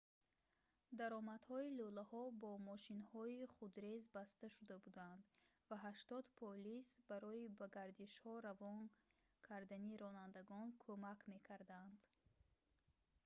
даромадҳои лӯлаҳо бо мошинҳои худрез баста шуда буданд ва 80 полис барои ба гардишҳо равон кардани ронандагон кумак мекарданд